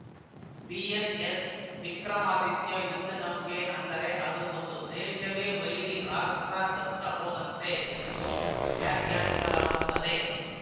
INS Vikramaditya ಯುದ್ಧ ನೌಕೆ ಅಂದರೆ ಅದು ಒಂದು ದೇಶವೇ ವೈರಿ ರಾಷ್ಟ್ರದತ್ತ ಹೋದಂತೆ ಎಂದು ವ್ಯಾಖ್ಯಾನಿಸಲಾಗುತ್ತದೆ